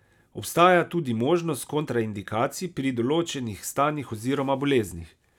Obstaja tudi možnost kontraindikacij pri določenih stanjih oziroma boleznih.